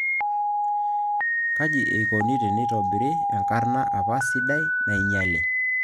Kaji ikoni tenitobiri enkarrna apa sidai nainyiale